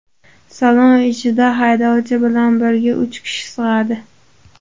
Salon ichida haydovchi bilan birga uch kishi sig‘adi.